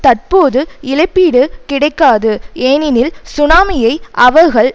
தற்போது இழப்பீடு கிடைக்காது ஏனெனில் சுனாமியை அவர்கள்